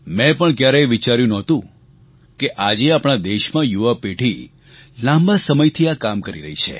મેં પણ ક્યારેય વિચાર્યું નહોતું કે આજે આપણા દેશમાં યુવાપેઢી લાંબા સમયથી આ કામ કરી રહી છે